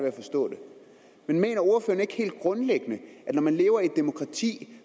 at forstå det men mener ordføreren ikke helt grundlæggende at når man lever i et demokrati